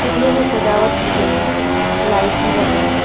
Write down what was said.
फूलों से सजावट की गई हैं लाइट भी लगे हैं।